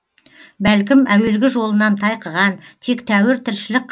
бәлкім әуелгі жолынан тайқыған тек тәуір тіршілік